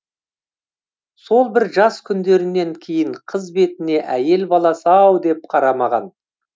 сол бір жас күндерінен кейін қыз бетіне әйел баласы ау деп қарамаған